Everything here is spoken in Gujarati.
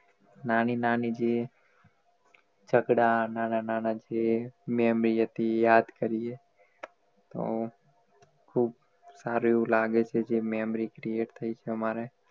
નાની નાની જે જગડા નાના નાના જે memory હતી યાદ કરીએ તો ખૂબ સારું એવું લાગે છે જે memory create થઈ છે અમારે